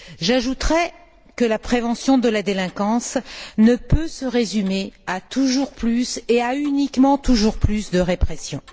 J'ajouterai que la prévention de la délinquance ne peut se résumer à toujours plus et à uniquement toujours plus de répression.